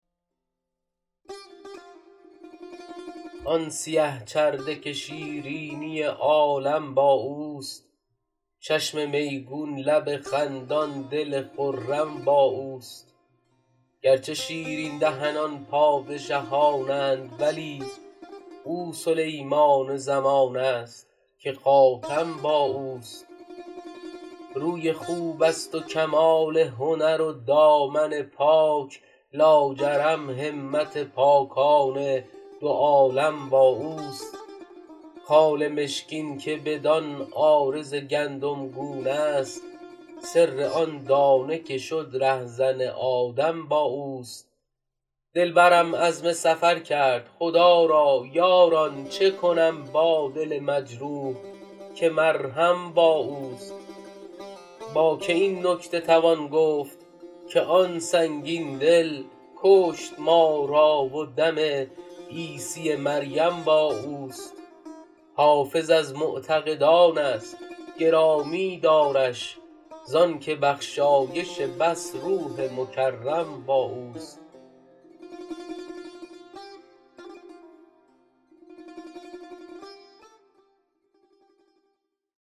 آن سیه چرده که شیرینی عالم با اوست چشم میگون لب خندان دل خرم با اوست گرچه شیرین دهنان پادشهان اند ولی او سلیمان زمان است که خاتم با اوست روی خوب است و کمال هنر و دامن پاک لاجرم همت پاکان دو عالم با اوست خال مشکین که بدان عارض گندمگون است سر آن دانه که شد رهزن آدم با اوست دلبرم عزم سفر کرد خدا را یاران چه کنم با دل مجروح که مرهم با اوست با که این نکته توان گفت که آن سنگین دل کشت ما را و دم عیسی مریم با اوست حافظ از معتقدان است گرامی دارش زان که بخشایش بس روح مکرم با اوست